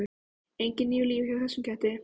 Engin níu líf hjá þessum ketti.